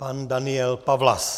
Pan Daniel Pawlas.